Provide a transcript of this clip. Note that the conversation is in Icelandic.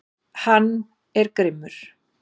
Hann er grimmur.